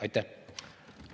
Aitäh!